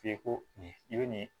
F'i ko nin i be nin